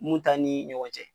Mun ta ni ɲɔgɔn cɛ